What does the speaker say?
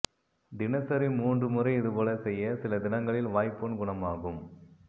தினசரி மூன்று முறை இதுபோல செய்ய சில தினங்களில் வாய்ப்புண் குணமாகும்